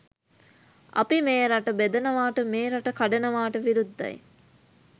අපි මේ රට බෙදනවාට මේ රට කඩනවාට විරුද්ධයි.